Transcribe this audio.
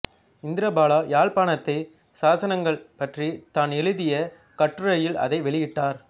இந்திரபாலா யாழ்ப்பாணத்துச் சாசனங்கள் பற்றித் தான் எழுதிய கட்டுரையில் அதை வெளியிட்டார்